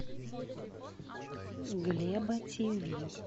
глеба тиви